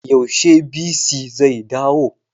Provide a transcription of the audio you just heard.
Yaushe bc zai dawo?